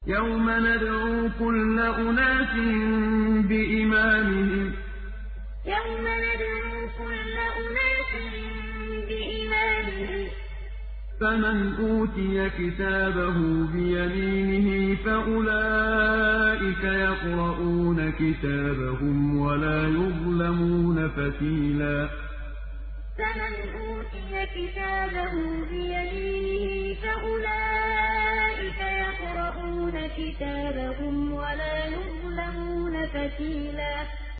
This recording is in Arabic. يَوْمَ نَدْعُو كُلَّ أُنَاسٍ بِإِمَامِهِمْ ۖ فَمَنْ أُوتِيَ كِتَابَهُ بِيَمِينِهِ فَأُولَٰئِكَ يَقْرَءُونَ كِتَابَهُمْ وَلَا يُظْلَمُونَ فَتِيلًا يَوْمَ نَدْعُو كُلَّ أُنَاسٍ بِإِمَامِهِمْ ۖ فَمَنْ أُوتِيَ كِتَابَهُ بِيَمِينِهِ فَأُولَٰئِكَ يَقْرَءُونَ كِتَابَهُمْ وَلَا يُظْلَمُونَ فَتِيلًا